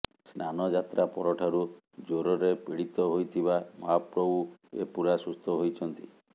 ସ୍ନାନଯାତ୍ରା ପରଠାରୁ ଜ୍ୱରରେ ପୀଡିତ ହୋଇଥିବା ମହାପ୍ରଭୁ ଏବେ ପୁରା ସୁସ୍ଥ ହୋଇଛନ୍ତି